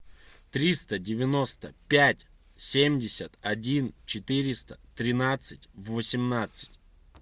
триста девяносто пять семьдесят один четыреста тринадцать восемнадцать